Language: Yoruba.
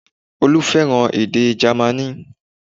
Olú fẹ́ràn èdè Jámánì